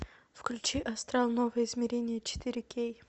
включи астрал новое измерение четыре кей